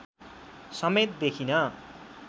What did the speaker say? समेत देखिन